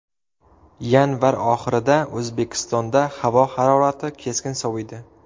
Yanvar oxirida O‘zbekistonda havo harorati keskin soviydi.